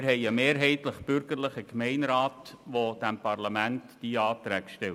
Wir haben einen mehrheitlich bürgerlichen Gemeinderat, der dem Parlament diese Anträge stellt.